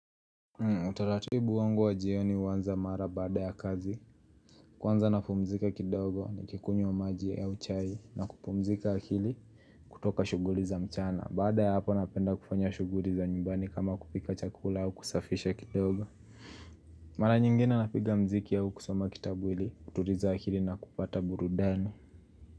Utaratibu wangu wa jioni huanza mara baada ya kazi. Kwanza napumzika kidogo nikikunywa maji au chai na kupumzika akili kutoka shughuli za mchana baada ya hapo napenda kufanya shuguri za nyumbani kama kupika chakula au kusafisha kidogo Mara nyingine napiga mziki au kusoma kitabu hili kuturiza akili na kupata burudani.